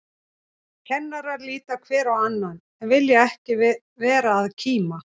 Kennarar líta hver á annan, en vilja ekki vera að kíma.